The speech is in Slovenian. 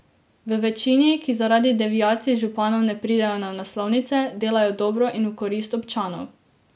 V večini, ki zaradi deviacij županov ne pridejo na naslovnice, delajo dobro in v korist občanov.